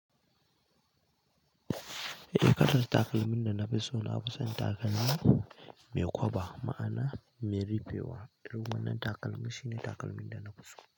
Eh kalar takalmin da na fi so na fi son takalmi mai kwaɓa ma'ana mai rifewa domin nan takalmi shine takalmin da na fi so.